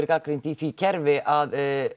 gagnrýnt í því kerfi að